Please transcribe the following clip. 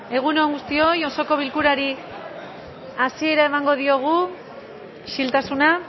egun on guztoi osoko bilkurari hasiera emango diogu isiltasuna